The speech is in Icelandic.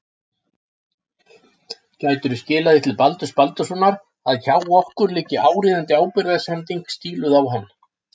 Gætirðu skilað því til Baldurs Baldurssonar að hjá okkur liggi áríðandi ábyrgðarsending stíluð á hann.